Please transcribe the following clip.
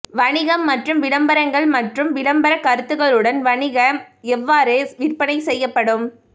வணிகம் மற்றும் விளம்பரங்கள் மற்றும் விளம்பரக் கருத்துகளுடன் வணிக எவ்வாறு விற்பனை செய்யப்படும்